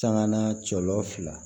Sanŋa na cɔlɔ fila